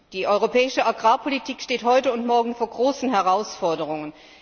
Die europäische Agrarpolitik steht heute und morgen vor großen Herausforderungen.